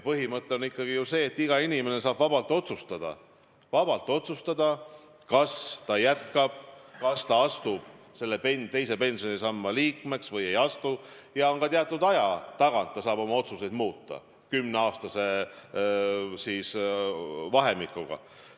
Põhimõte on see, et iga inimene saab vabalt otsustada, kas ta jätkab, kas ta astub teise pensionisamba liikmeks või ei astu, ja teatud aja tagant saab ta oma otsust muuta, kümneaastase vahemikuga.